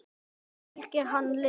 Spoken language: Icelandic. Fylgir hann liðinu?